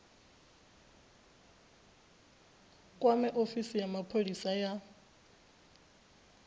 kwame ofisi ya mapholisa ya